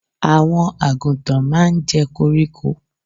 Àwọn àgùntàn máa ń jẹ́ koríko.